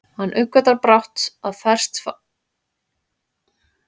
Hann uppgötvar brátt að bresk fangelsi eru einsog völundarhús, rúm inngöngu en þröng útgöngu